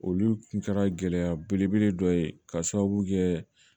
Olu kun kɛra gɛlɛya belebele dɔ ye k'a sababu kɛ